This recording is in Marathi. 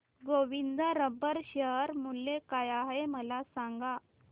गोविंद रबर शेअर मूल्य काय आहे मला सांगा